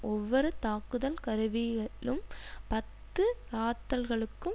ஒவ்வொரு தாக்குதல் கருவியிலும் பத்து இறாத்தல்கலுக்கும்